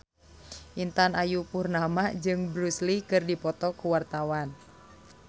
Intan Ayu Purnama jeung Bruce Lee keur dipoto ku wartawan